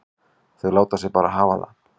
Þau láta sig bara hafa það.